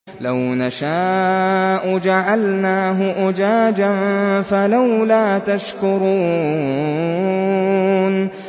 لَوْ نَشَاءُ جَعَلْنَاهُ أُجَاجًا فَلَوْلَا تَشْكُرُونَ